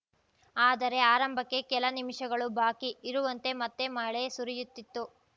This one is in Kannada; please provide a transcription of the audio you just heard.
ಆದರೆ ಆರಂಭಕ್ಕೆ ಕೆಲ ನಿಮಿಷಗಳು ಬಾಕಿ ಇರುವಂತೆ ಮತ್ತೆ ಮಳೆ ಸುರಿಯುತ್ತಿತ್ತು